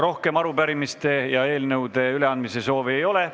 Rohkem arupärimiste ja eelnõude üleandmise soovi ei ole.